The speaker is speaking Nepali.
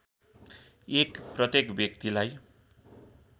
१ प्रत्येक व्यक्तिलाई